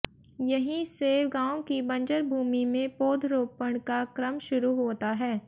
यहीं से गांव की बंजर भूमि में पौधरोपण का क्रम शुरू होता है